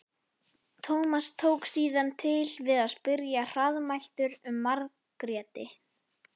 Tómas tók síðan til við að spyrja hraðmæltur um Margréti.